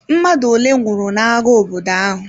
Mmadụ ole nwụrụ n'agha obodo ahụ?